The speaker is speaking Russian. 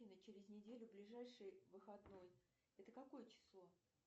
афина через неделю ближайший выходной это какое число